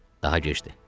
Daha gecdir.